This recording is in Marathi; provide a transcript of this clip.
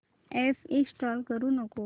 अॅप इंस्टॉल करू नको